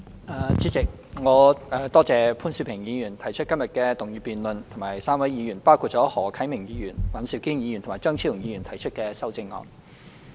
代理主席，我多謝潘兆平議員提出今天的議案辯論，以及3位議員，包括何啟明議員、尹兆堅議員和張超雄議員提出的修正案。